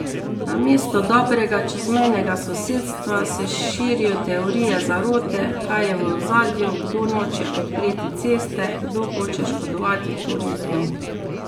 Namesto dobrega čezmejnega sosedstva, se širijo teorije zarote, kaj je v ozadju, kdo noče odpreti ceste, kdo hoče škodovati turizmu...